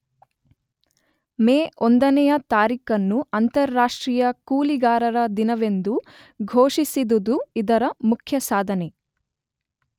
ಮೇ ಒಂದನೆಯ ತಾರೀಖನ್ನು ಅಂತಾರಾಷ್ಟ್ರೀಯ ಕೂಲಿಗಾರರ ದಿನವೆಂದು ಘೋಷಿಸಿದುದು ಇದರ ಮುಖ್ಯಸಾಧನೆ.